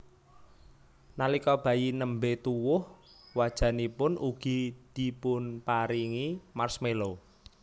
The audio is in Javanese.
Nalika bayi nembé tuwuh wajanipun ugi dipunparingi marshmallow